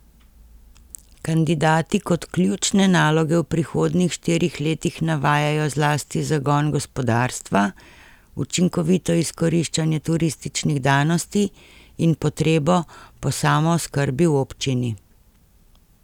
Kandidati kot ključne naloge v prihodnjih štirih letih navajajo zlasti zagon gospodarstva, učinkovito izkoriščanje turističnih danosti in potrebo po samooskrbi v občini.